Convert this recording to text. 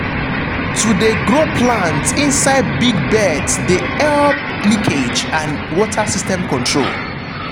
to de grow plants inside big beds de help leakage and water system control.